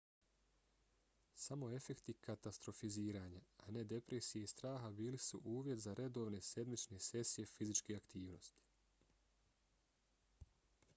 samo efekti katastrofiziranja a ne depresije i straha bili su uvjet za redovne sedmične sesije fizičke aktivnosti